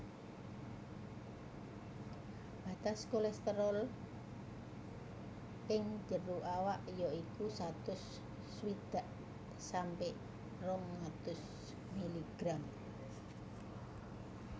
Batas normal kolesterol ing jero awak ya iku satus swidak sampe rong atus miligram